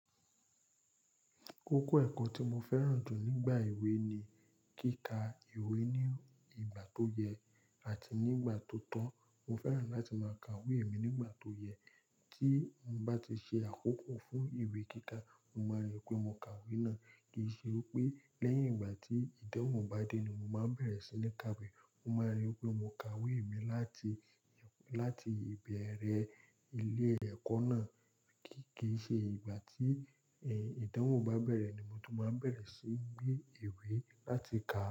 Kókó ẹ̀kọ́ tí mo fẹ́ràn jù nígbà ìwé ni kíkà ìwé ní ìgbà tó yẹ àti ní ìgbà tó tọ́. Mo fẹ́ràn láti máa ka ìwé mi nígbà tó yẹ. Tí mo bá ti ṣe àkókò fún ìwé kíkà, mo máa rí pé mo ka ìwé náà. Kì í ṣe pé lẹ́yìn ìgbà tí ìdánwò bá dé ni mo máa bẹ̀rẹ̀ sí ní ka ìwé. Mo máa rí pé mo ka ìwé mi láti, láti ìbẹ̀rẹ̀ ilé ẹ̀kọ́ náà. Kì í ṣe ìgbà tí, ìdánwò bá bẹ̀rẹ̀ ni mo tó máa bẹ̀rẹ̀ síí gbé ìwé láti kà.